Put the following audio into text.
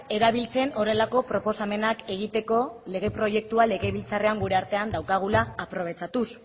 erabiltzen horrelako proposamenak egiteko lege proiektua legebiltzarrean gure artean daukagula aprobetxatuz